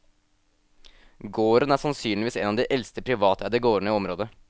Gården er sannsynligvis en av de eldste privateide gårdene i området.